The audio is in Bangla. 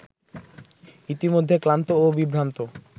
ইতিমধ্যে ক্লান্ত ও বিভ্রান্ত